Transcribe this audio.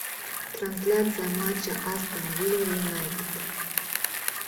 трансляция матча астон вилла юнайтед